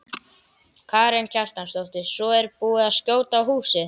Karen Kjartansdóttir: Svo er búið að skjóta á húsið?